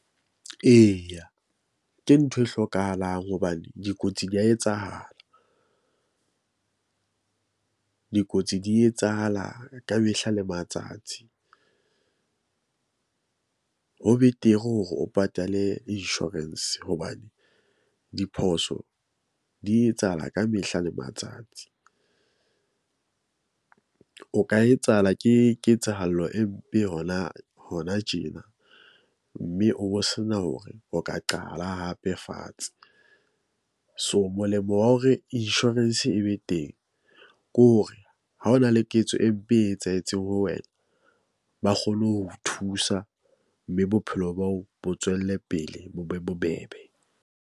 Eya, ke ntho e hlokahalang hobane dikotsi di ya etsahala . Dikotsi di etsahala ka mehla le matsatsi . Ho betere hore o patale insurance hobane diphoso di etsahala ka mehla le matsatsi . O ka etsahala ke ketsahalo e mpe hona hona tjena. Mme o bo sena hore o ka qala hape fatshe. So, molemo wa hore insurance e be teng ke hore ha hona le ketso e mpe e etsahetseng ho wena. Ba kgone ho thusa, mme bophelo bao bo tswelle pele bo be bobebe.